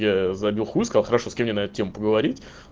я забил хуй сказал хорошо с кем мне на тему поговорить